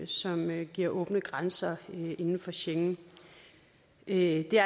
som giver åbne grænser inden for schengen det